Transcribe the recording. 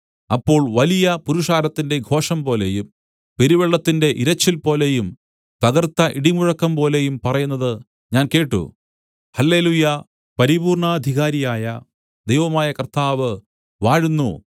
അപ്പോൾ വലിയ പുരുഷാരത്തിന്റെ ഘോഷംപോലെയും പെരുവെള്ളത്തിന്റെ ഇരച്ചിൽപോലെയും തകർത്ത ഇടിമുഴക്കംപോലെയും പറയുന്നത് ഞാൻ കേട്ട് ഹല്ലെലൂയ്യാ പരിപൂർണ്ണാധികാരി ആയ ദൈവമായ കർത്താവ് വാഴുന്നു